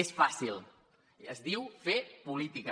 és fàcil es diu fer política